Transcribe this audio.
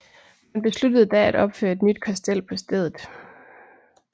Man besluttede da at opføre et nyt kastel på stedet